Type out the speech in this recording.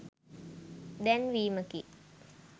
දැන්වීමකි